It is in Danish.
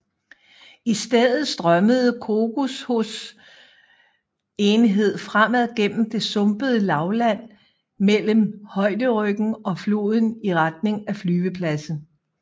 I stedet strømmede Kokushos enhed fremad gennem det sumpede lavland mellem højderyggen og floden i retning af flyvepladsen